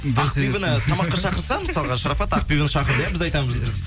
ақбибіні тамаққа шақырса мысалы шарапат ақбибіні шақырды біз айтамыз